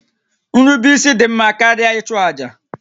Nrubeisi dị mma karịa ịchụ àjà